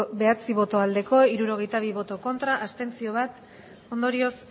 bai hirurogeita bi ez bat abstentzio ondorioz